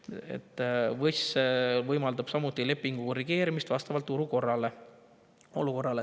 VÕS § 357 võimaldab samuti lepingu korrigeerimist vastavalt turuolukorrale.